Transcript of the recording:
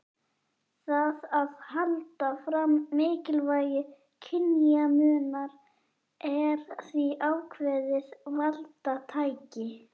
Það að halda fram mikilvægi kynjamunar er því ákveðið valdatæki.